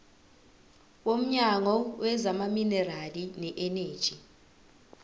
womnyango wezamaminerali neeneji